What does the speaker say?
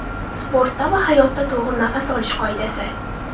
Sportda va hayotda to‘g‘ri nafas olish qoidasi.